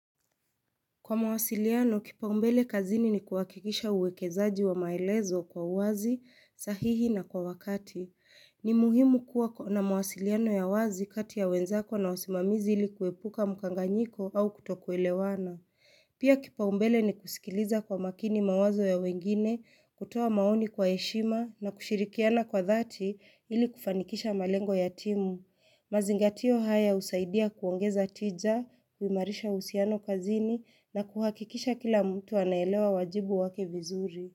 Kwa mawasiliano, kipaumbele kazini ni kuhakikisha uwekezaji wa maelezo kwa wazi, sahihi na kwa wakati. Ni muhimu kuwa na mawasiliano ya wazi kati ya wenzako na wasimamizi ili kuepuka mkanganyiko au kutokuelewana. Pia kipaumbele ni kusikiliza kwa makini mawazo ya wengine, kutoa maoni kwa heshima na kushirikiana kwa dhati ili kufanikisha malengo ya timu. Mazingatio haya husaidia kuongeza tija, kuimarisha uhusiano kazini na kuhakikisha kila mtu anaelewa wajibu wake vizuri.